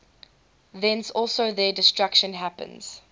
thence also their destruction happens